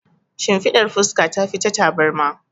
Shimfiɗar fuska tafi ta tabarma.